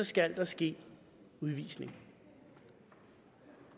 skal ske udvisning